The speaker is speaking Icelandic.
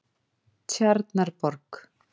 Tjarnarborg